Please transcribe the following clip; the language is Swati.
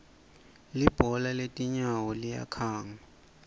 libhola letinyawo liyakhanga